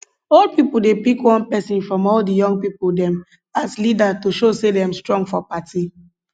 old pipo dey pick one persin from all di young pipo dem as leader to show say dem strong for party